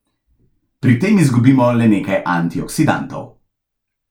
Pri tem izgubimo le nekaj antioksidantov.